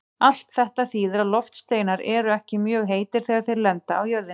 Allt þetta þýðir að loftsteinar eru ekki mjög heitir þegar þeir lenda á jörðinni.